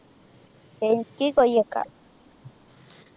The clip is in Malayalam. എനിക്ക് കൊയ്യക്ക